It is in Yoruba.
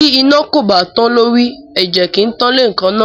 Bí iná kò bá tán lórí, ẹ̀jẹ̀ kì í tán léèékánná.